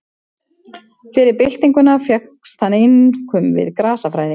Fyrir byltinguna fékkst hann einkum við grasafræði.